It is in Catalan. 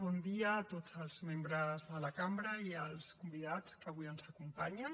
bon dia a tots els membres de la cambra i als convidats que avui ens acompanyen